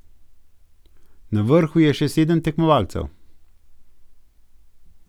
Na vrhu je še sedem tekmovalcev.